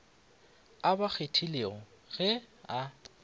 a ba kgethilego ge a